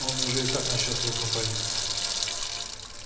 он уже и так начал свою кампанию